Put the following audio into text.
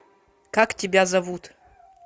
как тебя зовут